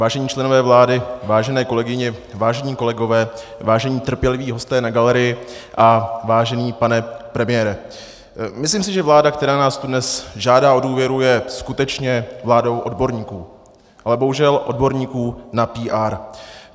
Vážení členové vlády, vážené kolegyně, vážení kolegové, vážení trpěliví hosté na galerii a vážený pane premiére, myslím si, že vláda, která nás tu dnes žádá o důvěru, je skutečně vládou odborníků, ale bohužel odborníků na PR.